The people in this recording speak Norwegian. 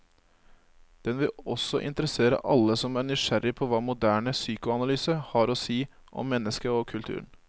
Den vil også interessere alle som er nysgjerrig på hva moderne psykoanalyse har å si om mennesket og kulturen.